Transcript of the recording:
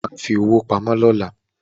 O ma fi owó pamọ́ lọ́la